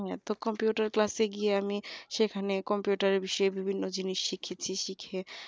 হ্যাঁ তো computer class এ গিয়ে আমি সেখানে computer এর বিষয়ে বিভিন্ন জিনিস শিখেছি শিখে